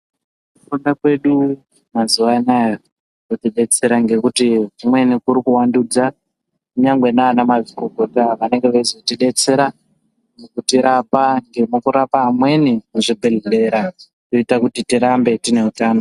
Kufunda kwedu mazuva ano kotidetsera ngekuti dzimweni kuti kuva ndudza nyangwe nana mazvikokota vanenge veizotidetsera mukutirapa amweni muzvibhedhlera kuitira tirambe tine hutano.